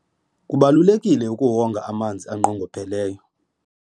kubalulekile ukuwonga amanzi anqongopheleyo